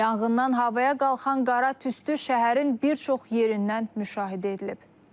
Yanğından havaya qalxan qara tüstü şəhərin bir çox yerindən müşahidə edilib.